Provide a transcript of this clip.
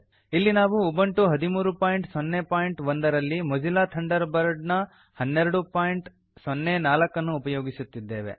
ಇಲ್ಲಿ ನಾವು ಉಬಂಟು 1301 ನಲ್ಲಿ ಮೋಜಿಲಾ ಥಂಡರ್ ಬರ್ಡ್ 1204 ಅನ್ನು ಉಪಯೋಗಿಸುತ್ತಿದ್ದೇವೆ